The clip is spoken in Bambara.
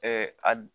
a